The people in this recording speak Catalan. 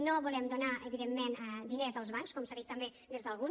no volem donar evidentment diners als bancs com s’ha dit també des d’algun